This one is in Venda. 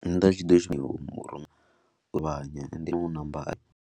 Nda tshi ḓo .